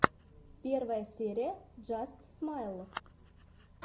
первая серия джаст смайл